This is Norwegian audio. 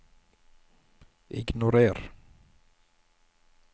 ignorer